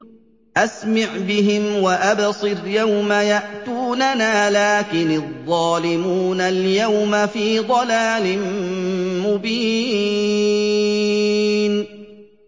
أَسْمِعْ بِهِمْ وَأَبْصِرْ يَوْمَ يَأْتُونَنَا ۖ لَٰكِنِ الظَّالِمُونَ الْيَوْمَ فِي ضَلَالٍ مُّبِينٍ